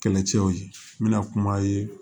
Kɛlɛcɛw ye n bɛna kuma ye